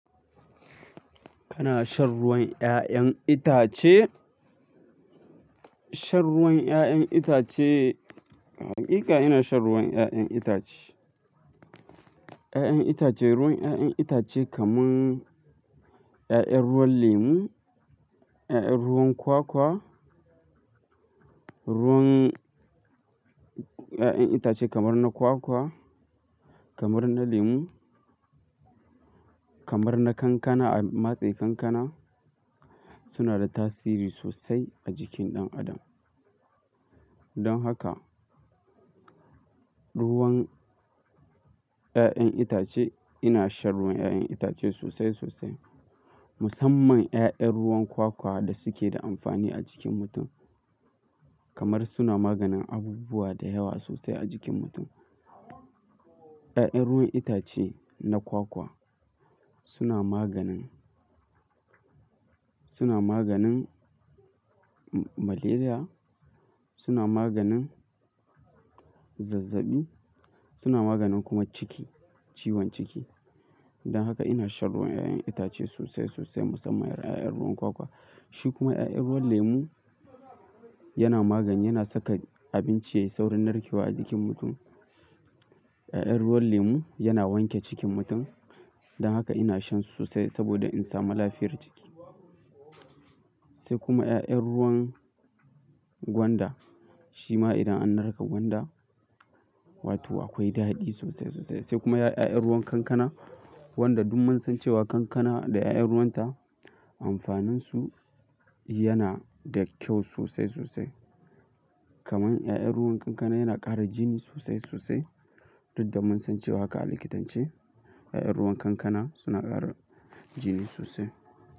Kana shan ruwan 'ya'yan itace? Shan ruwan 'ya'yan itace, hakika ina shan ruwan 'ya'yan itace. 'Ya'yan itace, ruwan 'ya'yan itace kaman 'ya'yan ruwan lemu, 'ya'yan ruwan kwakwa, ruwan 'ya'yan itace kamar na kwakwa, kamar na lemu, kamar na kankana, a matse kankana suna da tasiri sosai a jikin ɗan adam. Don haka, ruwan 'ya'yan itace ina shan ruwan 'ya'yan itace sosai sosai. Musamman 'ya'yan ruwan kwakwa da suke da amfani a jikin mutum. Kamar suna maganin abubuwa da yawa sosai a jikin mutum. 'Ya'yan ruwan itace na kwakwa suna maganin, suna maganin malaria, suna maganin zazzaɓi, suna maganin kuma ciki, ciwon ciki. Don haka ina shan ruwan 'ya'yan itace sosai sosai musamman 'ya'yan ruwan kwakwa. Shi kuma 'ya'yan ruwan lemu yana magani, yana saka abinci yayi saurin narkewa a jikin mutum. 'Ya'yan ruwan lemu yana wanke cikin mutum. Don haka ina shan su sosai saboda in samu lafiyar jiki. Sai kuma 'ya'yan ruwan gwanda. Shi ma idan an narka gwanda, wato akwai daɗi sosai sosai. Sai kuma 'ya'yan ruwan kankana wanda duk mun san cewa kankana da 'ya'yan ruwanta amfaninsu yana da kyau sosai sosai. Kaman 'ya'yan ruwan kankana yana ƙara jini sosai sosai. Duk da mun san cewa haka a likitance, 'ya'yan ruwan kankana suna ƙara jini sosai.